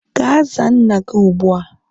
Ga zaa nna gi ụgbụ a